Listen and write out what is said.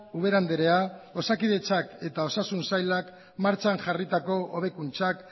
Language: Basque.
ubera andrea osakidetzak eta osasun sailak martxan jarritako hobekuntzak